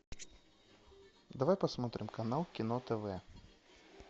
давай посмотрим канал кино тв